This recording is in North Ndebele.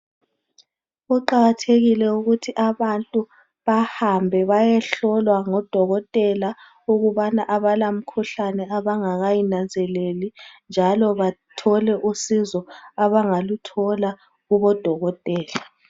Kuqakathekile ukuthi abantu bahambe bayehlolwa ngodokotela ukubana abala mkhuhlane abangakayinanzeleli njalo bathole usizo abangaluthola kubodokotela